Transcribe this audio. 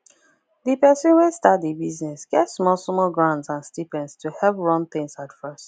the person wey start the business get some small small grants and stipends to help run things at first